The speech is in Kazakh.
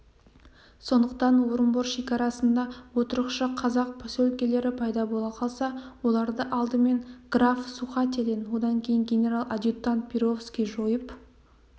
сондықтан орынбор шекарасында отырықшы қазақ поселкелері пайда бола қалса оларды алдыменен граф сухателен одан кейін генерал-адъютант перовский жойып